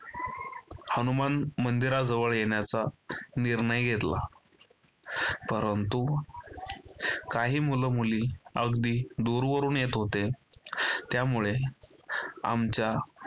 हनुमान मंदिराजवळ येण्याचा निर्णय घेतला परंतु काही मुलं-मुली अगदी दूरवरून येत होते. त्यामुळे आमच्या